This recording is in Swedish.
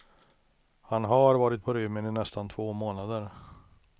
Han har varit på rymmen i nästan två månader.